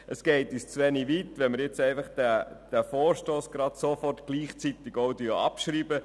Es geht uns zu wenig weit, wenn man den Vorstoss jetzt auch sofort gleichzeitig abschreibt.